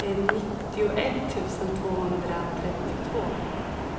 nittioett tusen tvåhundratrettiotvå